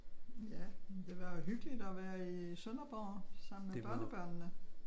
Ja jamen det var jo hyggeligt at være i Sønderborg sammen med børnebørnene